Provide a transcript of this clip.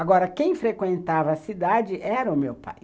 Agora, quem frequentava a cidade era o meu pai.